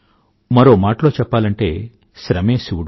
మరో మాటలో చెప్పాలంటే శ్రమే శివుడు